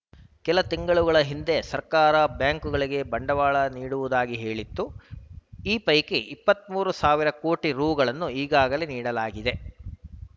ಕೆಲ ತಿಂಗಳ ಹಿಂದೆ ಸರ್ಕಾರ ಬ್ಯಾಂಕ್‌ಗಳಿಗೆ ಬಂಡವಾಳ ನೀಡುವುದಾಗಿ ಹೇಳಿತ್ತುಈ ಪೈಕಿ ಇಪ್ಪತ್ತ್ ಮೂರು ಸಾವಿರ ಕೋಟಿ ರುಗಳನ್ನು ಈಗಾಗಲೇ ನೀಡಲಾ ಗಿದೆ